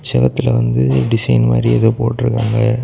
செவுத்துல வந்து டிசைன் மாதிரி ஏதோ போட்ருக்காங்க.